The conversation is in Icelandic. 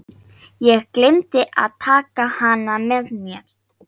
Ég gleymdi að taka hana með mér.